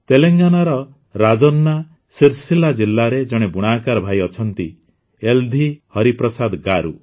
ତେଲେଙ୍ଗାନାର ରାଜନ୍ନା ସିର୍ସିଲ୍ଲା ଜିଲ୍ଲାରେ ଜଣେ ବୁଣାକାର ଭାଇ ଅଛନ୍ତି ୟେଲ୍ଧି ହରିପ୍ରସାଦ ଗାରୁ